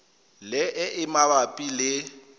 le e e mabapi le